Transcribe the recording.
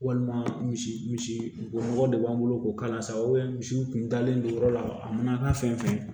Walima misi misi misi o nɔgɔ de b'an bolo k'o k'a la sa misiw kun dalen don yɔrɔ la a mana kɛ fɛn fɛn ye